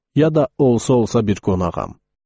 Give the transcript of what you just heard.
Ya da olsa-olsa bir qonağam.